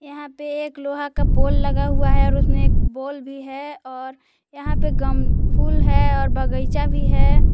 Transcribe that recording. यहां पे एक लोहा का पोल लगा हुआ है और उसने एक बल्ब भी है और यहां पे गम फुल है और बगइचा भी है।